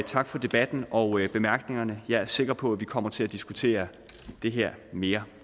tak for debatten og bemærkningerne jeg er sikker på at vi kommer til at diskutere det her mere